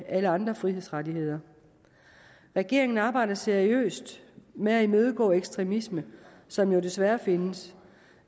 alle andre frihedsrettigheder regeringen arbejder seriøst med at imødegå ekstremisme som jo desværre findes